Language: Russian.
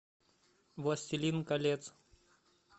властелин колец